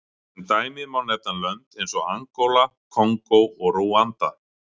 Sem dæmi má nefna lönd eins og Angóla, Kongó og Rúanda.